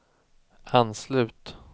anslut